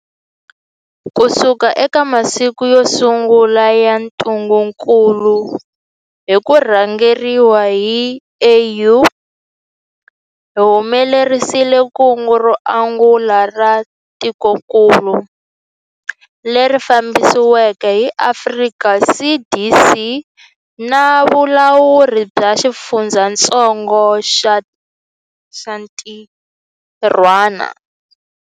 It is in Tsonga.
Kusuka eka masiku yo sungula ya ntungukulu na hi ku rhangeriwa hi AU, hi humelerisile kungu ro angula ra tikokulu, leri fambisiweke hi Afrika CDC na valawuri va xifundzatsongo va xintirhwana.